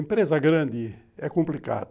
Empresa grande é complicado.